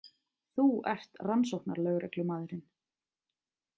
Þú ert rannsóknarlögreglumaðurinn.